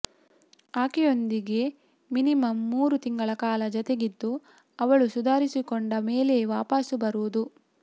ಆಕೆಯೊಂದಿಗೆ minimum ಮೂರು ತಿಂಗಳ ಕಾಲ ಜತೆಗಿದ್ದು ಅವಳು ಸುಧಾರಿಸಿಕೊಂಡ ಮೇಲೆಯೇ ವಾಪಾಸು ಬರೋದು